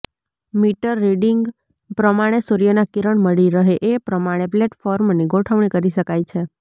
metre reading પ્રમાણે સૂર્યના કિરણ મળી રહે એ પ્રમાણે પ્લેટફોર્મની ગોઠવણી કરી શકાય છે